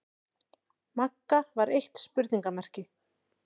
Magga var eitt spurningarmerki.